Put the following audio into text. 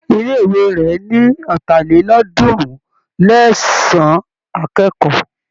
Ilé-ìwé rẹ̀ ní ọ̀tàlélọ́ọ̀ọ́dúnrún-lé-ẹ̀sán akẹ́kọ̀ọ́.